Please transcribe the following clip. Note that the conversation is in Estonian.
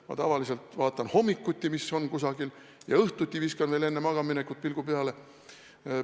Ma tavaliselt vaatan hommikuti, mis on kusagil kirjas, ja õhtuti viskan veel enne magamaminekut pilgu peale.